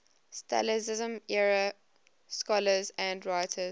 stalinism era scholars and writers